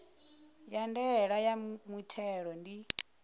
ya ndaela ya muthelo ndi